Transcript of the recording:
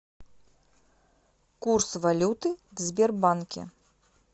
курс валюты в сбербанке